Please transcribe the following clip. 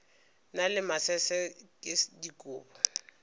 na le masese ke dikobo